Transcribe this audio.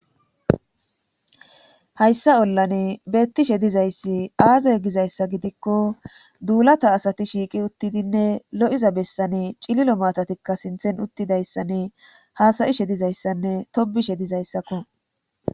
hayssa ollane beettishe dizayssi aazay gizayssa gidikko duulata asati shiiqi uttidinne lo7iza bessane cililo maatatikka sinthen uttidayssanne haasayi she dizayssanne tobishe dizayssakko